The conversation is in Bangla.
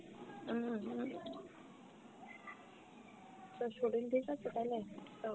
হম হম, তোর শরীর ঠিকাছে তাইলে